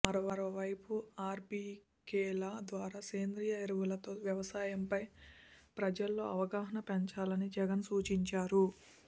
మరోవైపు ఆర్బీకేల ద్వారా సేంద్రీయ ఎరువులతో వ్యవసాయంపై ప్రజల్లో అవగాహన పెంచాలని జగన్ సూచించారు